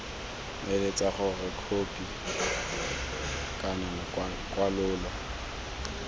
eletsa gore khopi kana kwalololo